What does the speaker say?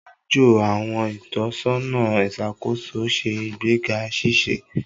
Ajo àwọn itọsọna iṣakoso ṣe igbega ṣiṣe.